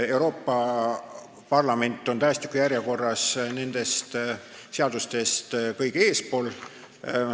Euroopa Parlamendi valimise seadus on tähestikjärjestuses nendest teistest seadustest eespool.